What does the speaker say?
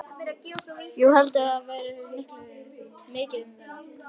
Jú, heldurðu að það verði mikið um að vera?